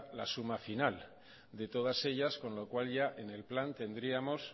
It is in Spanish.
la suma final de todas ellas con lo cual ya en el plan tendríamos